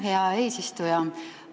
Aitäh, hea eesistuja!